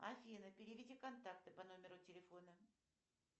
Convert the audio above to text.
афина переведи контакты по номеру телефона